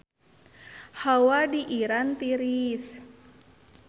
Hawa di Iran tiris